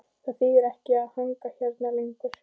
Það þýðir ekkert að hanga hérna lengur.